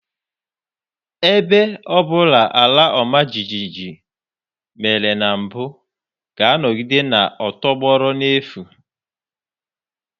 Ebe ọ bụla àlà ọma jijiji mèrè na mbụ ga-anọgide na-atọgbọrọ n'efu